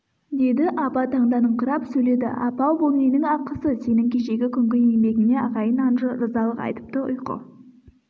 деді аба таңданыңқырап сөйледі апа-ау бұл ненің ақысы сенің кешегі күнгі еңбегіңе ағайын-анжы ырзалық айтыпты ұйқы